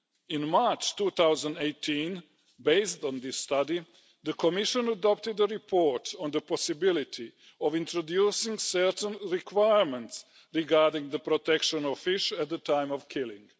In March 2018, based on this study, the Commission adopted a report on the possibility of introducing certain requirements regarding the protection of fish at the time of killing.